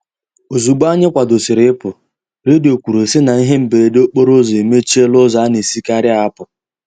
Ozugbo anyị kwadosiri ị pụ, redio kwuru sị na ihe mberede okporo ụzọ emechiela ụzọ a na-esikari apụ.